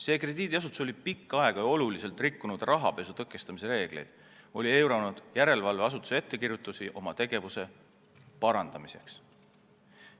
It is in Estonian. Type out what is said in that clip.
See krediidiasutus oli pikka aega suurel määral rikkunud rahapesu tõkestamise reegleid ning eiranud järelevalveasutuse ettekirjutusi oma tegevuse parandamiseks.